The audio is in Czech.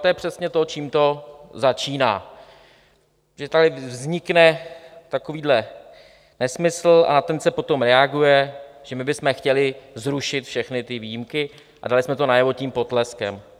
To je přesně to, čím to začíná, že tady vznikne takovýhle nesmysl a na ten se potom reaguje, že my bychom chtěli zrušit všechny ty výjimky a dali jsme to najevo tím potleskem.